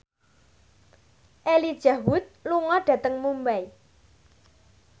Elijah Wood lunga dhateng Mumbai